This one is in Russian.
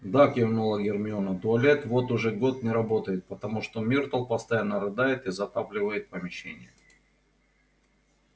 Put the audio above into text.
да кивнула гермиона туалет вот уже год не работает потому что миртл постоянно рыдает и затапливает помещение